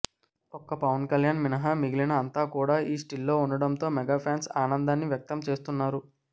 ఒక్క పవన్ కళ్యాణ్ మినహా మిగిలిన అంతా కూడా ఈ స్టిల్లో ఉండటంతో మెగా ఫ్యాన్స్ ఆనందాన్ని వ్యక్తం చేస్తున్నారు